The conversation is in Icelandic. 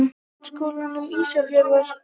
Grunnskólanum Ísafirði